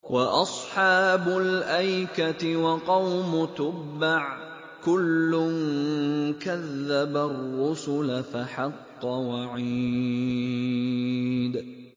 وَأَصْحَابُ الْأَيْكَةِ وَقَوْمُ تُبَّعٍ ۚ كُلٌّ كَذَّبَ الرُّسُلَ فَحَقَّ وَعِيدِ